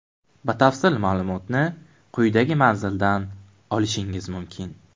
Batafsil ma’lumotni quyidagi manzildan olishingiz mumkin: .